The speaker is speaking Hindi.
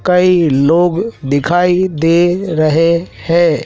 कई लोग दिखाई दे रहे है।